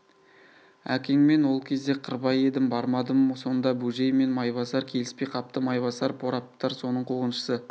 әкеңмен ол кезде қырбай едім бармадым сонда бөжей мен майбасар келіспей қапты майбасар прорабтар соның қуғыншысы